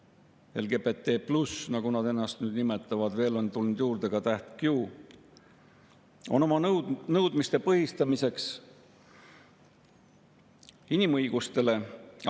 Reaalsus on aga see, et homoliikumine LGBT+, nagu nad ennast nimetavad – veel on tulnud juurde ka täht Q –, on oma nõudmiste põhistamiseks apelleerinud inimõigustele.